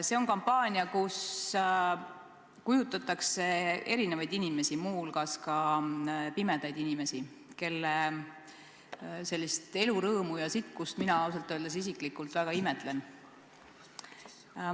See on kampaania, mille käigus kujutatakse erinevaid inimesi, muu hulgas pimedaid inimesi, kelle elurõõmu ja sitkust mina isiklikult väga imetlen.